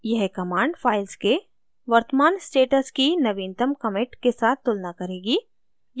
यह command files के वर्तमान स्टेटस की नवीनतम commit के साथ तुलना करेगी